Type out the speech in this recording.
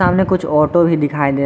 सामने कुछ ऑटो भी दिखाई दे --